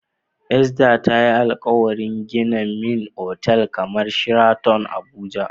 Esther tayi alkawarin gina min otel kamar Sheraton a abuja